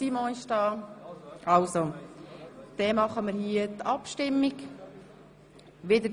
Ich denke, dass jetzt alle wieder da sind, und wir abstimmen können.